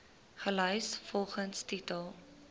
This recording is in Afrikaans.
gelys volgens titel